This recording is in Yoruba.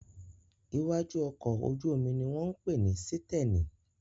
Iwájú ọkọ̀ ojú-omi ní wọ́n pè ní sítẹ̀nì